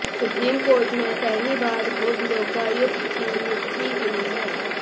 supreme court ने पहली बार खुद लोकायुक्त की नियुक्ति की है